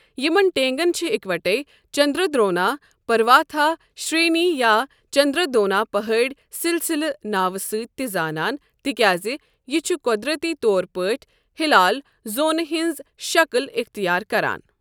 یِمن ٹینٛگَن چھِ اِکوٹے چندردرونا پرواتھا شرینی یا چندردرونا پہٲڑی سلسلہ ناوٕ سۭتۍ تہِ زانان تِکیٛازِ یہِ چھُ قۄدرتی طور پٲٹھۍ ہِلال زوٗنہِ ہٕنٛز شکٕل اِختیار کران۔